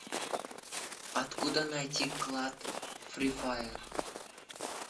откуда найти клад фри фаер